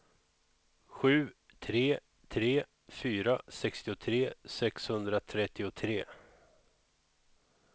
sju tre tre fyra sextiotre sexhundratrettiotre